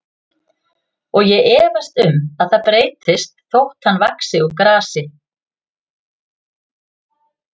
Og ég efast um að það breytist þótt hann vaxi úr grasi.